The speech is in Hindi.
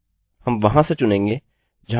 अतः यह डेटा है जो हमारे फॉर्म से आ रहा है